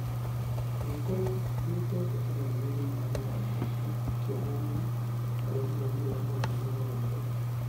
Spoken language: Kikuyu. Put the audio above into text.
Gũgĩkorwo .....nĩũĩtete andũ anene thĩinĩ wa mĩthako nĩkĩonania ....kũrehe maumerera manene mũngethaniro-inĩ.